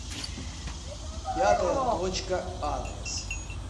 пятая точка адрес